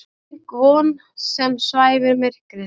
Styrk von sem svæfir myrkrið.